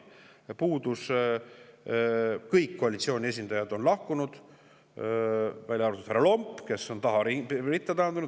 Kõik koalitsiooni esindajad on lahkunud, välja arvatud härra Lomp, kes on tagaritta taandunud.